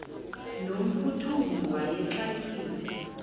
no mphuthumi wayexakiwe